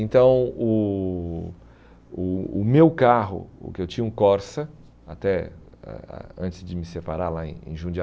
Então o o o meu carro, o que eu tinha um Corsa, até ah ah antes de me separar lá em em